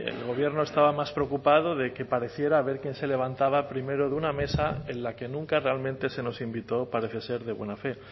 el gobierno estaba más preocupado de que pareciera a ver quién se levantaba primero de una mesa en la que nunca realmente se nos invitó parece ser de buena fe